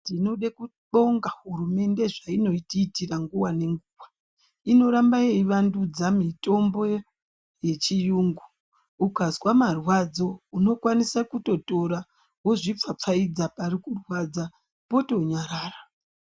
Tinode kubonga hurumende zveinotiitira nguwa nenguwa. Inoramba yevandudza mitombo yechiyungu. Ukazwa marwadzo unokwanisa kutotora wozvipfapfaidza pari kurwadza potonyarara.